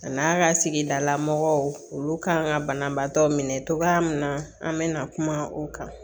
A n'a ka sigidala mɔgɔw kan ka banabaatɔ minɛ cogoya min na an bɛ na kuma o kan